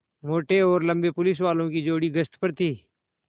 मोटे और लम्बे पुलिसवालों की जोड़ी गश्त पर थी